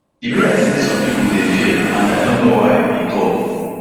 e be like say some pipo dey fear and i no know why e tok